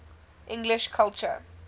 english culture